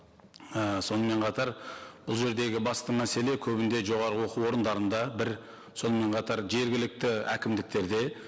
і сонымен қатар бұл жердегі басты мәселе көбінде жоғары оқу орындарында бір сонымен қатар жергілікті әкімдіктерде